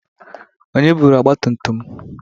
Onye bụrụ ọgba tum tum m?